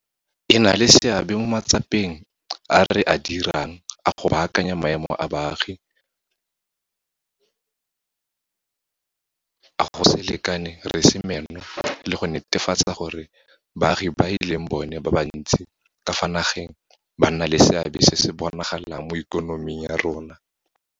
E na le seabe mo matsapeng a re a dirang a go baakanya maemo a baagi a go se lekane re se meno le go netefatsa gore baagi ba e leng bona ba bantsi ka fa nageng ba nna le seabe se se bonagalang mo ikonoming ya rona.